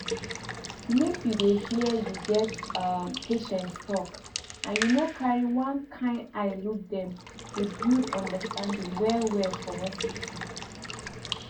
make you dey hear you get um patients talk and you no carry one kind eye look dem dey build understanding well well for hospital